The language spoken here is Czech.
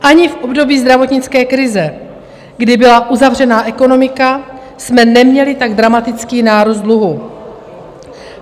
Ani v období zdravotnické krize, kdy byla uzavřená ekonomika, jsme neměli tak dramatický nárůst dluhu.